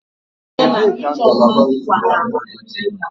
Ebee ka ngalaba ntuli aka gị dị?